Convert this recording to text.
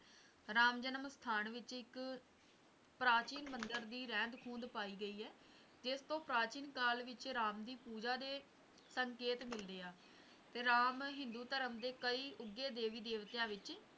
ਰਾਮ ਜਨਮ ਸਥਾਨ ਵਿੱਚ ਇਕ ਪ੍ਰਾਚੀਨ ਮੰਦਰ ਦੀ ਰਹਿੰਦ ਖੂੰਦ ਪਾਈ ਗਈ ਹੈ ਜਿਸਤੋਂ ਪ੍ਰਾਚੀਨ ਕਾਲ ਵਿੱਚ ਰਾਮ ਦੀ ਪੂਜਾ ਦੇ ਸੰਕੇਤ ਮਿਲਦੇ ਹੈ ਤੇ ਰਾਮ ਹਿੰਦੂ ਧਰਮ ਦੇ ਕਕਈ ਉੱਘੇ ਦੇਵੀ ਦੇਵਤਿਆਂ ਵਿੱਚ